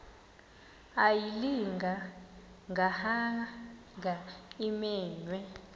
ayilinga gaahanga imenywe